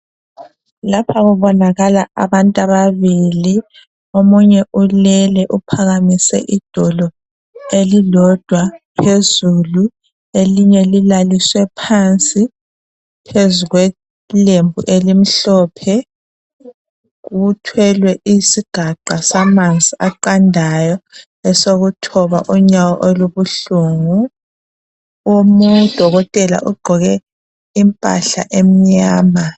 Lapha kubonakala abantu ababili, omunye ulele uphakamise idolo elilodwa phezulu. Elinye lilaliswe phansi phezu kwelembu elimhlophe. Kuthwelwe isigaqa samanzi aqandayo, esokuthoba unyawo olubuhlungu. Omunye dokotela ugqoke impahla emnyama.